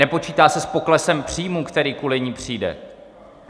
Nepočítá se s poklesem příjmů, který kvůli ní přijde.